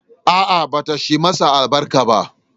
A'a, bata shi masa albarka ba.